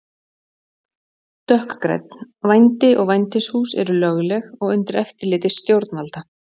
Dökkgrænn: Vændi og vændishús eru lögleg og undir eftirliti stjórnvalda.